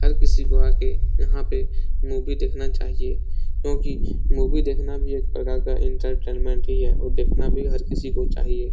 हर किसी को आ के यहाँ पे मूवी देखना चाहिए क्योंकि मूवी देखना भी एक प्रकार का एंटरटेनमेंट ही है और देखना भी हर किसी को चाहिए।